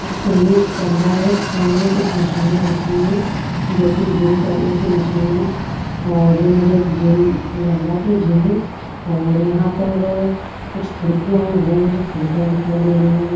इसका ये कमरा है कमरे में कुछ मशीने रखे हुए हैं जो कि जिम करने की मशीन है और ये मुझे एक जिम लग रहा है यहां पर कुछ खिड़कियां है वो मुझे खिड़कियां दिखाई दे रही है।